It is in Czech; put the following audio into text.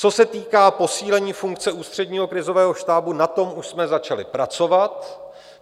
Co se týká posílení funkce Ústředního krizového štábu, na tom už jsme začali pracovat.